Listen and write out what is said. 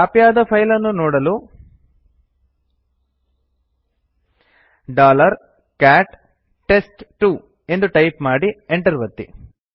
copy ಆದ file ಅನ್ನು ನೋಡಲು ಕ್ಯಾಟ್ ಟೆಸ್ಟ್2 ಎಂದು ಟೈಪ್ ಮಾಡಿ enter ಒತ್ತಿ